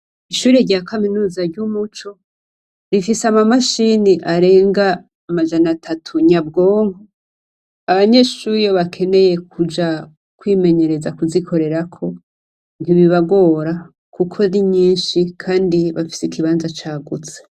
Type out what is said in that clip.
Ishure rya Kaminuza ry'Umuco rifise amamashini arenga amajanatatu nyabwonko; abanyeshure iyo bakeneye kuja kwimenyereza kuzikorerako ntibibagora kuko ari nyinshi kandi bafise ikibanza cagutse.